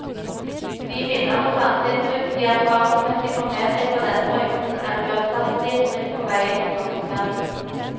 De minner og sanseinntrykk de erfaringsmessig får med seg fra denne perioden er uerstattelige skritt på veien til voksenverden.